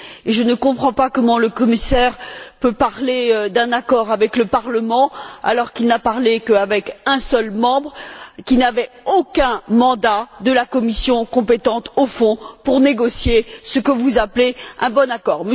Et je ne comprends pas comment le commissaire peut parler d'un accord avec le Parlement alors qu'il n'a parlé qu'avec un seul membre qui n'avait aucun mandat de la commission compétente au fond pour négocier ce que vous appelez un bon accord.